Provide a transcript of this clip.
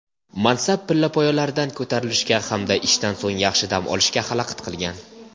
mansab pillapoyalaridan ko‘tarilishga hamda ishdan so‘ng yaxshi dam olishga xalaqit qilgan.